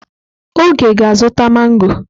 Oge ga-azụta mangọ.